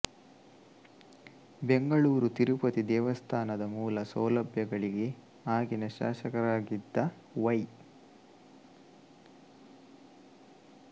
ಬೆಂಗಳೂರು ತಿರುಪತಿ ದೇವಸ್ಥಾನದ ಮೂಲ ಸೌಲಭ್ಯಗಳಿಗೆ ಆಗಿನ ಶಾಸಕರಾಗಿದ್ದ ವೈ